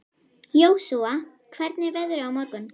Jósúa, hvernig er veðrið á morgun?